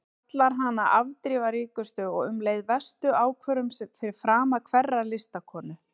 Kallar hana afdrifaríkustu og um leið verstu ákvörðun fyrir frama hverrar listakonu.